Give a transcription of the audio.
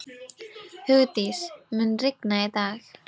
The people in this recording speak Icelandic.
Hugdís, mun rigna í dag?